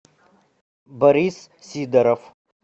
борис сидоров